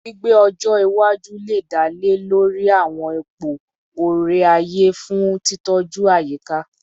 Gbigbe ọjọ iwaju le dale dale lori awọn ipo ore-aye fun titọju ayika